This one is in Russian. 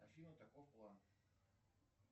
афина таков план